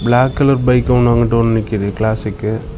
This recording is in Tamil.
பிளாக் கலர் பைக் ஒன்னு அங்குட்டு ஒன்னு நிக்குது கிளாசிக்கு .